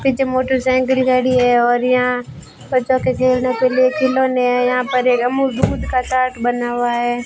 पीछे मोटरसाइकल गाड़ी हैं और यहाँ बच्चों के खेलने के लिए खिलौने हैं यहाँ पर ये अमूल दूध का चार्ट बना हुआ हैं।